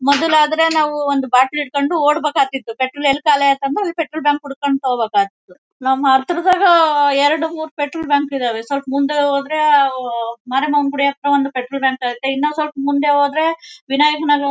ಮೊದಲಾದ್ರೆ ನಾವು ಒಂದು ಬಾಟಲ್ ಹಿಡ್ಕೊಂಡು ಓಡ್ಬೇಕಾಗ್ತಿತ್ತು ಪೆಟ್ರೋಲ್ ಎಲ್ಲಿ ಖಾಲಿ ಆಗತಂದ್ರು ಪೆಟ್ರೋಲ್ ಬಂಕ್ ಹುಡುಕೊಂಡು ಹೋಗ್ಬೇಕು ಆಗ್ತಿತ್ತು ನಮ್ ಹತ್ರದಾಗ ಎರಡು ಮೂರೂ ಪೆಟ್ರೋಲ್ ಬಂಕ್ ಇದಾವೆ ಸ್ವಲ್ಪ್ ಮುಂದೆ ಹೋದ್ರೆ ಆಹ್ಹ್ ಹೂವ್ ಮಾರಮ್ಮನ ಗುಡಿ ಹತ್ರ ಒಂದು ಪೆಟ್ರೋಲ್ ಬಂಕ್ ಐತ್ತೆ ಇನ್ನೂ ಸ್ವಲ್ಪ ಮುಂದೆ ಹೋದ್ರೆ ವಿನಾಯಕ ನಗರ --